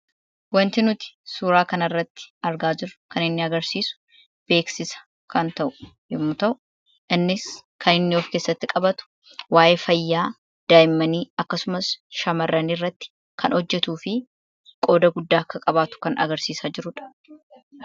Wanti nuti suuraa kanarratti argaa jirru kan inni agarsiisu beeksisa kan ta'u yommuu ta'u, innis kan of keessatti qabatu waayee fayyaa daa'immanii akkasumas shamarran irratti kan hojjatuu fi qooda guddaa akka qabaatu kan agarsiisaa jirudha.